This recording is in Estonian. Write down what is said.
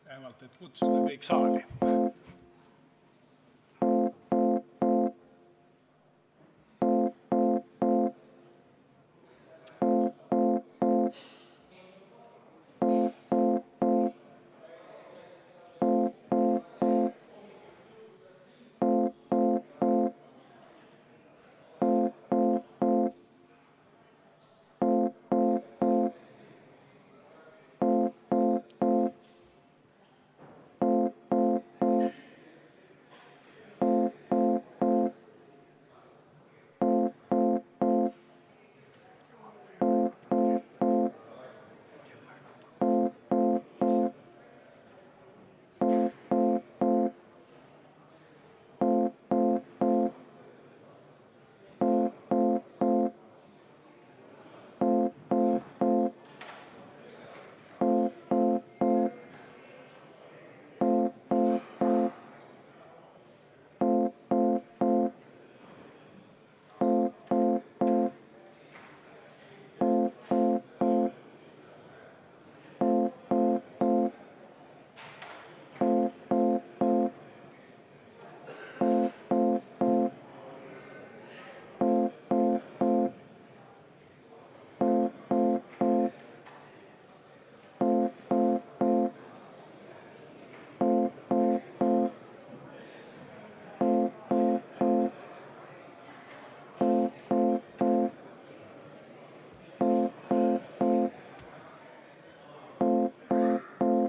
Vähemalt selleks, et kutsuda kõik saali.